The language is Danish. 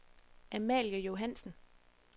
Amalie Johansen